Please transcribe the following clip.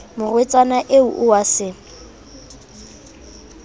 morwetsana eo o a se